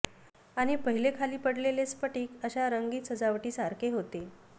आणि पहिले खाली पडलेले स्फटिक अशा रंगीत सजावटीसारखे होते